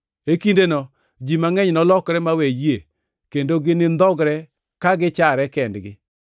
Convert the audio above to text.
E kindeno ji mangʼeny nolokre mawe yie kendo ginindhogre ka gichare kendgi,